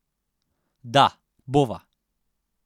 Da, bova!